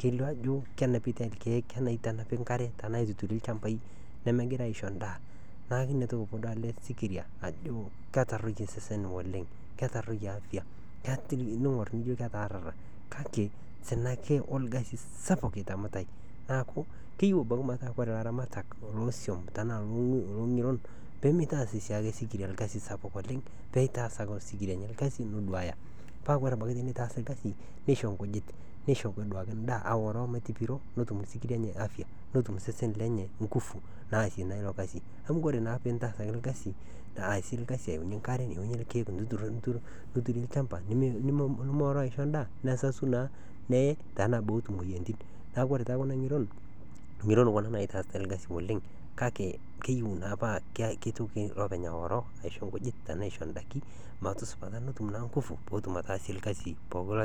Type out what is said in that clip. keitanapi ilkeek neitanapi inkariak tenaa aituturi ilchambai nemegirai aisho endaa idolita ajo ketoronok osesen naleng' ketaroie afya kake sina ake oo orkasi sapuk itaamitai neeku keyieu metaa ilaramatak loo swam loo ng'iron peeyie meitaas siake osikiria esiai sapuk naleng' peitaas ake osikiria ilkasin looduaya neitaas ilkasi neisho inkujit nisho akeduoo endaa ore amu etopiro eibelekenye afya netum sesen sidai oo ingufu naasie naa ilokasi aasie olkasi ayaunyie enkare neyaunyie ilkeek niturie olchamba nimioroo aisho endaa nesasu nee, neeku ore naaji kuna ng'iron, ng'iron kuna naitaasaki esiai oleng' kake keyiu naapa neitoki iloopeny aoroo aisho inkujit tenaa aisho indaiki petum ingufu naasie olkasi pookin.